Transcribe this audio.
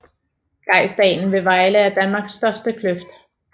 Grejsdalen ved Vejle er Danmarks største kløft